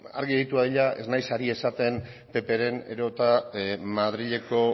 argi geratu dadila ez naiz ari esaten ppren edo eta madrileko